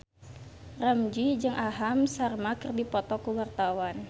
Ramzy jeung Aham Sharma keur dipoto ku wartawan